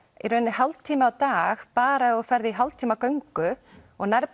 hálftími á dag bara ef þú ferð í hálftíma göngu og nærð